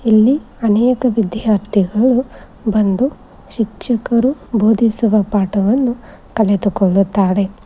ಇಲ್ಲಿ ಅನೇಕ ವಿದ್ಯಾರ್ಥಿಗಳು ಬಂದು ಶಿಕ್ಷಕರು ಬೋಧಿಸುವ ಪಾಠವನ್ನು ಕಳೆದುಕೊಳ್ಳುತ್ತಾರೆ.